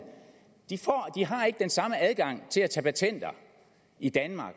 ikke har den samme adgang til at tage patenter i danmark